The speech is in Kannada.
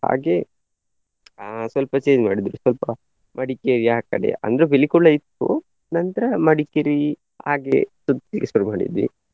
ಹಾಗೆ ಆ ಸ್ವಲ್ಪ change ಮಾಡಿದ್ರು ಸ್ವಲ್ಪ ಮಡಿಕೇರಿ ಆ ಕಡೆ ಅಂದ್ರೆ ಪಿಲಿಕುಳ ಇತ್ತು ನಂತ್ರ ಮಡಿಕೇರಿ ಹಾಗೆ ತಿರ್ಗ್ಲಿಕ್ಕೆ ಶುರು ಮಾಡಿದ್ವಿ.